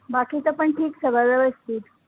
बाकीचं पण ठीक सगळं व्यवस्थित